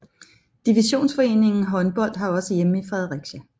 Divisionsforeningen Håndbold har også hjemme i Fredericia